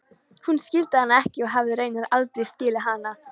Hann skildi hana ekki og hafði raunar aldrei skilið hana.